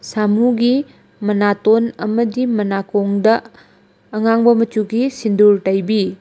ꯁꯃꯨꯒꯤ ꯃꯅꯥꯇꯣꯟ ꯑꯃꯗꯤ ꯃꯅꯥꯀꯣꯡꯗ ꯑꯉꯥꯡꯕ ꯃꯆꯨꯒꯤ ꯁꯤꯟꯗꯨꯔ ꯇꯩꯕꯤ꯫